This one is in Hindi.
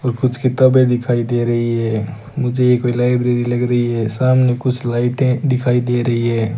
और कुछ किताबें दिखाई दे रही है मुझे ये कोई लाइब्रेरी लग रही है सामने कुछ लाइटें दिखाई दे रही है।